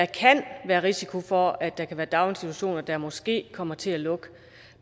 kan være risiko for at der kan være daginstitutioner der måske kommer til at lukke